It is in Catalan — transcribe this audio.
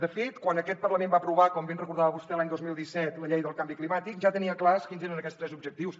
de fet quan aquest parlament va aprovar com bé ens recordava vostè l’any dos mil disset la llei del canvi climàtic ja tenia clars quins eren aquests tres objectius